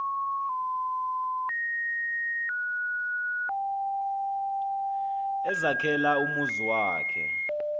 ezakhela umzi wakhe